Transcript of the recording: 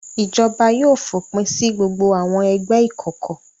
Ìjọba yóò fòpin sí gbogbo àwọn ẹgbẹ́ ìkọ̀kọ̀.